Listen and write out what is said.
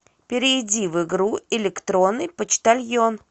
перейди в игру электронный почтальон